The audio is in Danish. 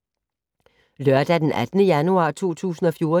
Lørdag d. 18. januar 2014